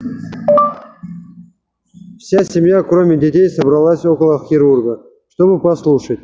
вся семья кроме детей собралась около хирурга чтобы послушать